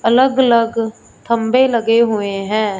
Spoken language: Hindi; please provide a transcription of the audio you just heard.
अलग अलग थंबे लगे हुए हैं।